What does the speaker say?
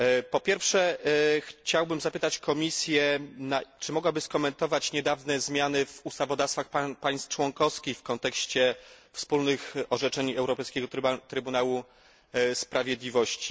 Po pierwsze, chciałbym zapytać Komisję, czy mogłaby skomentować niedawne zmiany w ustawodawstwach państw członkowskich w kontekście wspólnych orzeczeń Europejskiego Trybunału Sprawiedliwości.